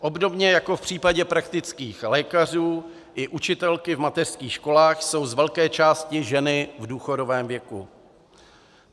Obdobně jako v případě praktických lékařů i učitelky v mateřských školách jsou z velké části ženy v důchodovém věku.